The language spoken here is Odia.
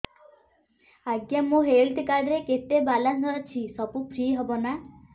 ଆଜ୍ଞା ମୋ ହେଲ୍ଥ କାର୍ଡ ରେ କେତେ ବାଲାନ୍ସ ଅଛି ସବୁ ଫ୍ରି ହବ ନାଁ